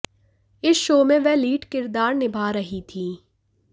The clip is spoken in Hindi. इस शो में वह लीड किरदार निभा रही थीं